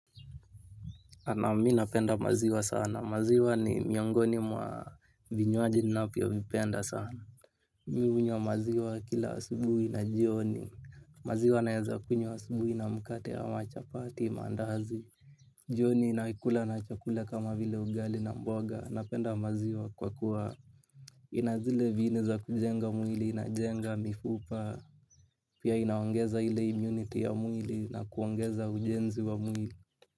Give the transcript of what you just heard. Naam mi napenda maziwa sana, maziwa ni miongoni mwa vinywaji navyo vipenda sana. Mi hunywa maziwa kila asubui na jioni. Maziwa naeza kunywa asubui na mkate ama chapati maandazi. Jioni naikula na chakula kama vile ugali na mboga. Napenda maziwa kwa kuwa ina zile viini za kujenga mwili, inajenga mifupa. Pia inaongeza ile immunity ya mwili na kuongeza ujenzi wa mwili.